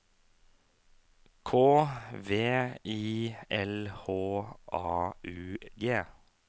K V I L H A U G